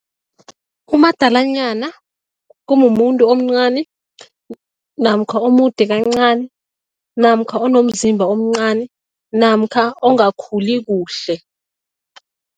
Umadalanyana kumumuntu omncani namkha omude kancani namkha onomzimba omncani namkha ongakhuli kuhle.